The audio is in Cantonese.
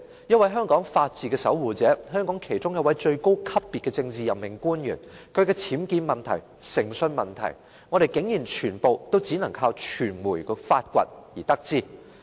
一位香港法治的守護者、香港其中一位最高級別的政治任命官員，其僭建問題、誠信問題，我們竟然只能依靠傳媒的發掘才能得知。